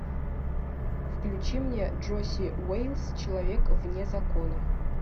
включи мне джоси уэйлс человек вне закона